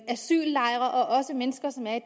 asyllejre og også mennesker som er i